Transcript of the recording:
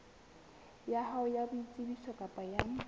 ya hao ya boitsebiso kapa